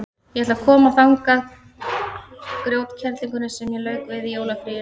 Ég ætla að koma þangað grjótkerlingunni sem ég lauk við í jólafríinu.